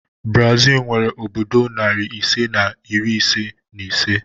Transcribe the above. Brazil nwere obodo nari ise na iri isii na ise